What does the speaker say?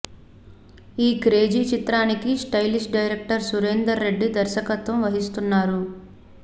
ఈ క్రేజీ చిత్రానికి stylish director Surender Reddy దర్శకత్వం వహిస్తున్నారు